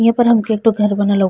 यहाँ पर हमके एकठो घर बनलो।